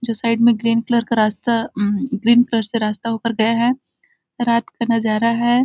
जो में साइड में ग्रीन कलर का रास्ता ग्रीन कलर से रास्ता हो कर गया है रात का नजारा है।